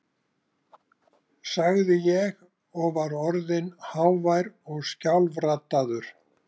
sagði ég, og var orðinn hávær og skjálfraddaður.